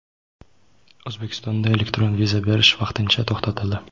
O‘zbekistonda elektron viza berish vaqtincha to‘xtatildi.